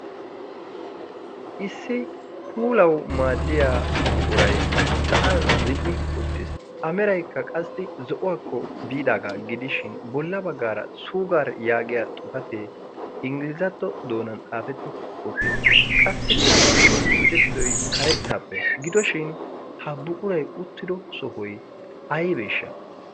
issi puulau maaddiya buqurai sa'an zin''i uttiis a meraykka qassi zo'uwaakko biidaagaa gidishin bolla baggaara suugar yaagiya xufatee ingiliizatto doonan xaafetti uttiis qassikka i tucettidoy karettaappe gidoshin ha buquray uttido sohoy aybeeshsha